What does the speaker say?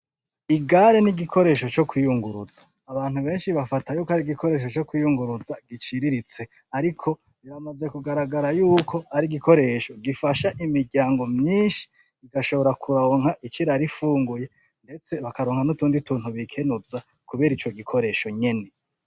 Ikinga ni igikoresho co kwiyunguruza, abantu benshi bafata yuko ari igikoresho co kwiyunguruza giciriritse ariko biramaze kugaragara yuko ari igikoresho gifasha imiryango myinshi igashobora kuronka ico irara ifunguye ndetse bakaronka n'utundi tuntu bikemuza kubera ico gikoresho nyene.